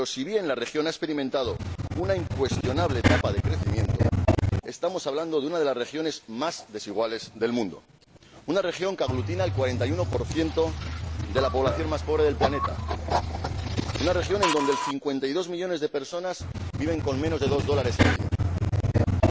Pero, si bien la región ha experimentado una incuestionable etapa de crecimiento, estamos hablando de una de las regiones más desiguales del mundo, una región que aglutina el 41 de la población más pobre del planeta, una región en donde 52 millones de personas viven con menos de dos dólares al día y